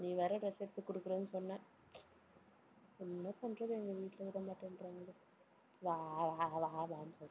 நீ வேற dress எடுத்து குடுக்கறேன்னு சொன்ன என்ன பண்றது எங்க வீட்டுல விடமாட்டேன்றாங்க